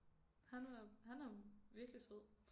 Han var han er virkelig sød